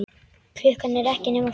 Klukkan er ekki nema fjögur.